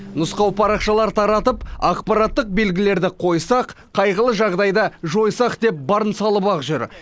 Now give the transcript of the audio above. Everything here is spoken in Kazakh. нұсқау парақшалар таратып ақпараттық белгілерді қойсақ қайғылы жағдайды жойсақ деп барын салып ақ жүр